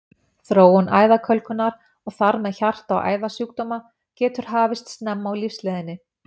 Þróun æðakölkunar, og þar með hjarta- og æðasjúkdóma, getur hafist snemma á lífsleiðinni.